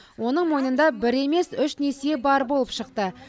оның мойнында бір емес үш несие бар болып шықты